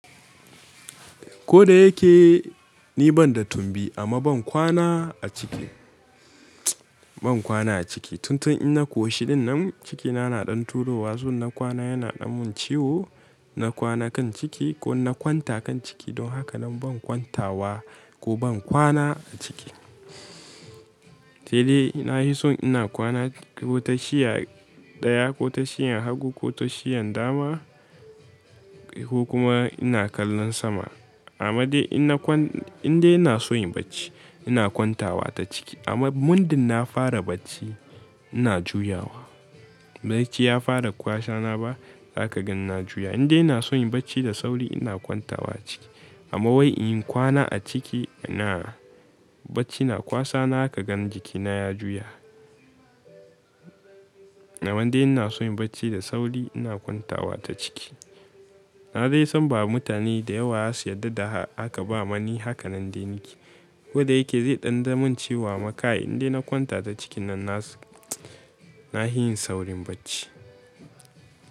Ko da yake ni ban da tumbi amma ban kwana a ciki, ban kwana a ciki. Tun tun inna koshishin nan cikina na ɗan turo wa, so ina kwana yana ɗanmin ciwo, na kwana kan ciki ko ina kwanta kan ciki don haka nan ban kwantawa ko ban kwana a ciki. Sai dai ina yi son ina kwana ko tashiya ɗaya ko tashiyan hagu ko tashiyan dama ko kuma ina kallon sama. Amma dai inde ina son inyi bacci ina kwantawa ta ciki. Amma mundin na fara bacci ina juyawa. Bacci ya fara kwasana ba haka ganina juya. Inda ina son yin bacci da sauri ina kwantawa ciki. Amma wai in kwana a ciki ina bacci na kwasana zaka gan jikina ya juya. Amma dai ina son yin bacci da sauri ina kwantawa ta ciki. Na dai san ba mutane da yawa za su yarda da haka ba mani haka nan dai nake. Ko da yake zai ɗan damun ciwo amma kay inde na kwanta ta cikin nan na, na hi yin saurin bacci.